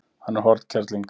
Hann er hornkerling.